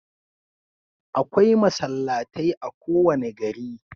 Akwai masallatai a kowane gari.